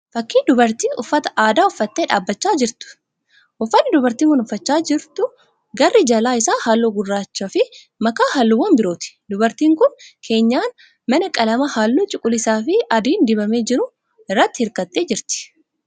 Fakkii dubartii uffata aadaa uffattee dhaabbachaa jirtuuti. Uffanni dubartiin kun uffachaa jiru garri jala isaa halluu gurraachaafi makaa halluuwwan birooti. Dubartiin kun keenyan mana qalama halluu cuquliisaafi adiin dibamee jiruu irratti hirkattee jirti.